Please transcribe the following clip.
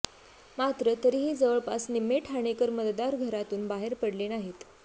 मात्र तरीही जवळपास निम्मे ठाणेकर मतदार घरातून बाहेर पडले नाहीत